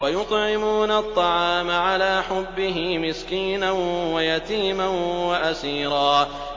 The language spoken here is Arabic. وَيُطْعِمُونَ الطَّعَامَ عَلَىٰ حُبِّهِ مِسْكِينًا وَيَتِيمًا وَأَسِيرًا